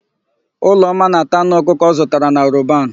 Ụlọma na-ata anụ ọkụkọ ọ zụtara na Roban.